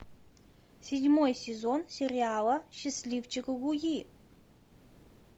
седьмой сезон сериала счастливчик луи